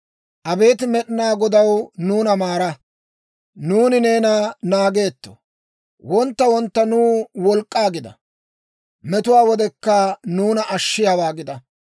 Abeet Med'inaa Godaw, nuuna maara; nuuni neena naageetto; wontta wontta nuw wolk'k'aa gida; metuwaa wodekka nuuna ashshiyaawaa gida.